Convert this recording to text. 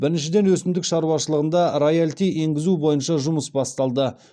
біріншіден өсімдік шаруашылығында роялти енгізу бойынша жұмыс басталды